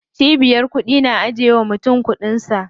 Cibiyar kuɗi na ajiye wa mutum kuɗin sa.